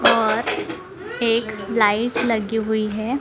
और एक लाइट लगी हुई है।